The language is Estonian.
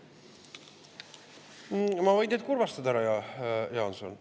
Ma võin teid kurvastada, härra Jaanson.